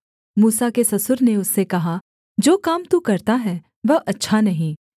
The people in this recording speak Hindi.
मूसा के ससुर ने उससे कहा जो काम तू करता है वह अच्छा नहीं